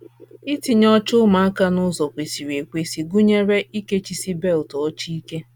Itinye oche ụmụaka n’ụzọ kwesịrị ekwesị gụnyere ikechisi belt oche ike